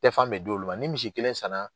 Tɛfan bɛ d'olu ma ni misi kelen san